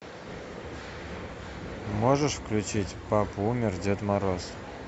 можешь включить папа умер дед мороз